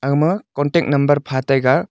agma contact number pha taiga.